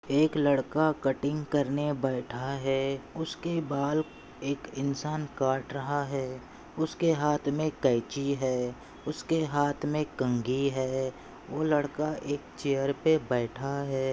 एक लड़का कटिंग करने बैठा है उसके बाल एक इंसान काट रहा है उसके हाथ मे कैची है उसके हाथ मे कंगी है वो लड़का एक चेयर पे बैठा है।